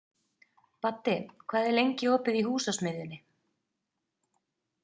Baddi, hvað er lengi opið í Húsasmiðjunni?